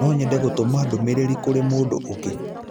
No nyende gũtũma ndũmĩrĩri kũrĩ mũndũ ũngĩ.